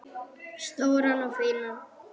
Stóran og fínan.